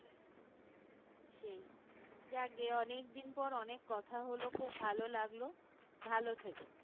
সেই যাগ্গে অনেকদিন পর অনেক কথা হলো খুব ভালো লাগলো ভালো থেকো